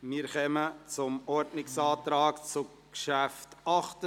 Wir kommen zum Ordnungsantrag zum Traktandum 68.